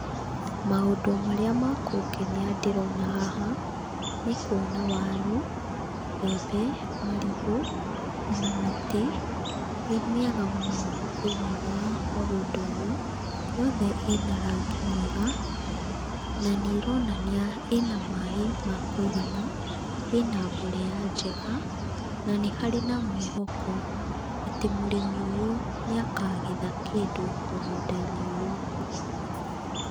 Maũndũ marĩa makũngenia ndĩrona haha nĩkwona waru, mbembe marigũ ona mĩtĩ ĩmĩega mũno thĩiniĩ wa mũgũnda ũyũ yothe ĩnarangi mwega nanĩĩronania ĩna maĩ makwĩigana, ĩna mborera njega na nĩharĩ na mwĩhoko atĩ mũrĩmi ũyũ nĩakagetha kĩndũ mũgũnda-inĩ ũyũ.